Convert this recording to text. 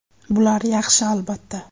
Bular yaxshi, albatta.